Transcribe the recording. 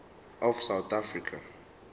of south africa